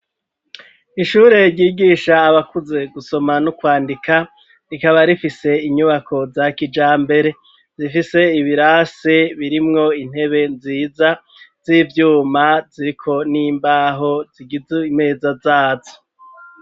Ishure ryigisha abakuze gusoma no kwandika rikaba rifise inyubako za kijambere zifise ibirasi birimwo intebe nziza z'ivyuma ziko n'imbaho zigize imeza zazo.